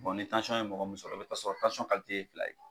ye mɔgɔ min sɔrɔ o bɛ t'a sɔrɔ ye fila ye